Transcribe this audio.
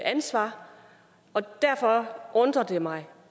ansvar derfor undrer det mig